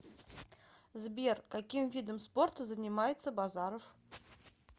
сбер каким видом спорта занимается базаров